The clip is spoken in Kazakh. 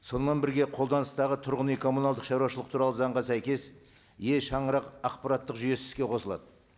сонымен бірге қолданыстағы тұрғын үй коммуналдық шаруашылық туралы заңға сәйкес е шаңырақ ақпараттық жүйесі іске қосылады